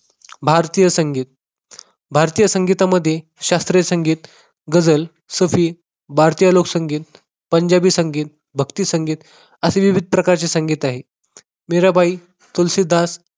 भारतीय संगीत भारतीय संगीतामध्ये शास्त्रीय संगीत, गझल, भारतीय लोकसंगीत, पंजाबी संगीत, भक्ती संगीत असे विविध प्रकारचे संगीत आहे. मीराबाई तुलसीदास